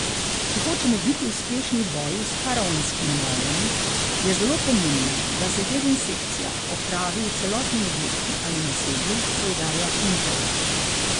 Če hočemo biti uspešni v boju s faraonskimi mravljami, je zelo pomembno, da se dezinsekcija opravi v celotnem objektu ali naselju, poudarja Pintarič.